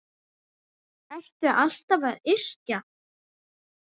Ertu alltaf að yrkja?